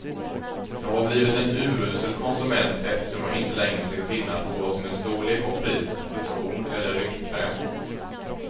Jag har blivit en urusel konsument eftersom jag inte längre ser skillnad på vad som är storlek och pris, lotion eller rynkkräm.